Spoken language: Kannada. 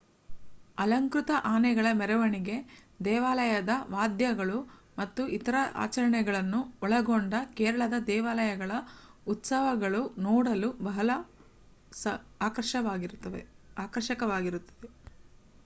ಅಲಂಕೃತ ಆನೆಗಳ ಮೆರವಣಿಗೆ ದೇವಾಲಯದ ವಾದ್ಯಗಳು ಮತ್ತು ಇತರ ಆಚರಣೆಗಳನ್ನು ಒಳಗೊಂಡ ಕೇರಳದ ದೇವಾಲಯಗಳ ಉತ್ಸವಗಳು ನೋಡಲು ಬಹಳ ಆಕರ್ಷಕವಾಗಿರುತ್ತದೆ